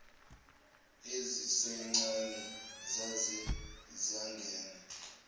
ezisencane zaye zangena